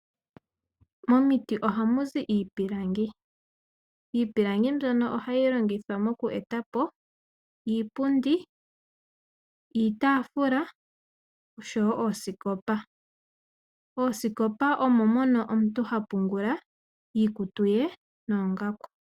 Momiti ohamu zi iipilangi. Iipilangi mbyono ohayi longithwa moku etapo iipilangi, iitafula noshowo oosikopa. Oosikopa omo mono omuntu ha pungula iikutu ye noongaku.